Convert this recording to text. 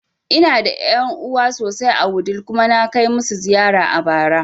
Ina da ƴan'uwa sosai a Wudil kuma na kai masu ziyara a bara